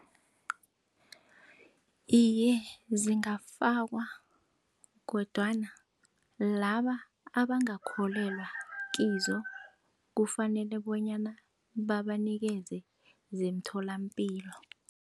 Iye, zingafakwa kodwana laba abangakholelwa kizo kufanele bonyana babanikeze zemtholampilo.